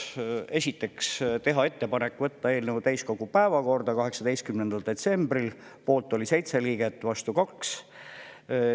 Esiteks tehti ettepanek võtta eelnõu täiskogu päevakorda 18. detsembril, selle poolt oli 7 liiget, vastu 2.